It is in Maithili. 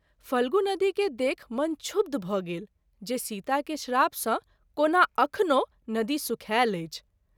फल्गु नदी के देखि मन क्षुब्ध भ’ गेल जे सीता के श्राप सँ कोना अखनो नदी सुखायल अछि।